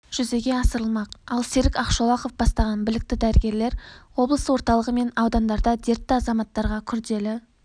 жүзеге асырылмақ ал серік ақшолақов бастаған білікті дәрігерлер облыс орталығы мен аудандарда дертті азаматтарға күрделі